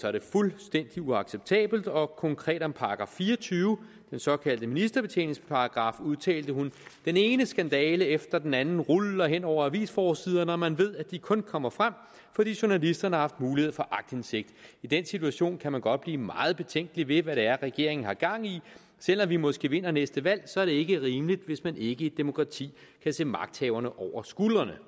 er det fuldstændig uacceptabelt og konkret om § fire og tyve den såkaldte ministerbetjeningsparagraf udtalte hun den ene skandale efter den anden ruller hen over avisforsiderne hvor man ved at de kun kommer frem fordi journalisterne har haft mulighed for aktindsigt i den situation kan man godt blive meget betænkelig ved hvad det er regeringen har gang i selv om vi måske vinder næste valg så er det ikke rimeligt hvis man ikke i et demokrati kan se magthaverne over skuldrene